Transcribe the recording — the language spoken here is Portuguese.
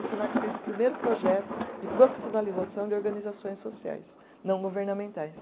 O Senac fez o primeiro projeto de profissionalização de organizações sociais não governamentais.